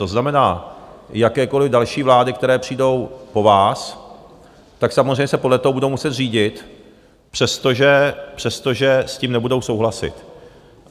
To znamená, jakékoliv další vlády, které přijdou po vás, tak samozřejmě se podle toho budou muset řídit, přestože s tím nebudou souhlasit.